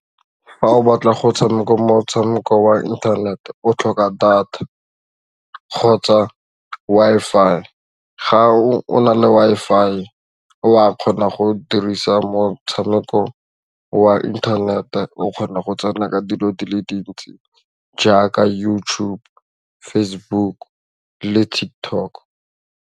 Fa o batla go tshameka motshameko wa internet o tlhoka data kgotsa Wi-Fi, ga o na le Wi-Fi wa kgona go o dirisa motshameko wa internet-e o kgona go tsena ka dilo di le dintsi jaaka YouTube, Facebook le Tiktok.